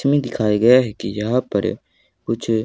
इसमें दिखाए गए हैं कि यहां पर कुछ--